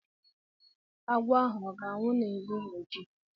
Agwọ ahu ọ ga-anwụ la n'ehihie echi?